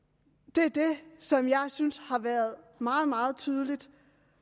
det er det som jeg synes har været meget meget tydeligt